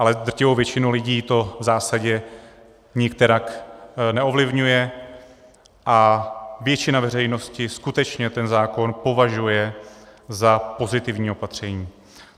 Ale drtivou většinu lidí to v zásadě nikterak neovlivňuje a většina veřejnosti skutečně ten zákon považuje za pozitivní opatření.